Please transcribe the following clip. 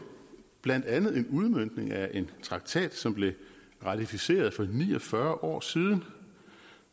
blandt andet en udmøntning af en traktat som blev ratificeret for ni og fyrre år siden